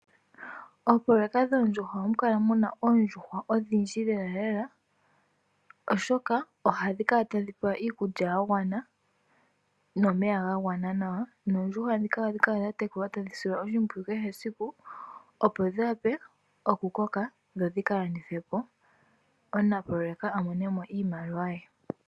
Oopoloyeka dhoondjuhwa ohamu kala muna oondjuhwa odhindji lela lela oshoka ohadhi kala tadhipewa iikulya yagwana nomeya gangwana nawa. Oondjuhwa dhika ohadhi tekulwa tadhi silwa oshipwiyu kehe esiku opo dhiwape okukoka opo dhika landithwe po, omunapoloyeka amonemo iimaliwa ye.